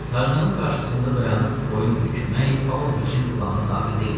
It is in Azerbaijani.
Tarzanın qarşısında dayanıb boyun bükmək Pavloviçin planına daxil deyildi.